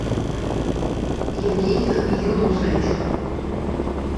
евгению юнусовичу